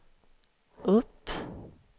upp